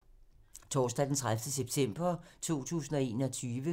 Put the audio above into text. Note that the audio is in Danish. Torsdag d. 30. september 2021